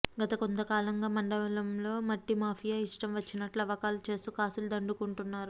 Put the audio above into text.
గత కొంత కాలంగా మండలంలో మట్టి మాఫియా ఇష్టం వచ్చినట్టు తవ్వకాలు చేస్తూ కాసులు దండుకుంటున్నారు